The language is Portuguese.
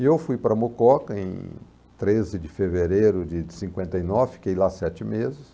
E eu fui para Mococa em treze de fevereiro de cinquenta e nove, fiquei lá sete meses.